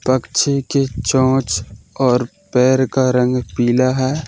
पक्षी की चोंच और पैर का रंग पीला है।